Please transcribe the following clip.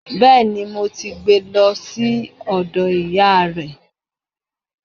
Bẹ́ẹ̀ni. Mo ti gbé e lọ sí ọ̀dọ̀ ìyáa rẹ̀.